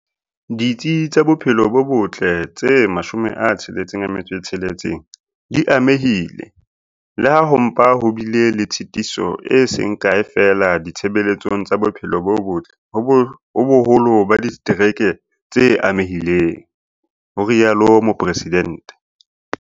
"Ditsi tsa bophelo bo botle tse 66 di amehile, le ha ho mpa ho bile le tshitiso e seng kae feela ditshebeletsong tsa bophelo bo botle ho boholo ba ditereke tse amehileng", ho rialo Mopre sidente.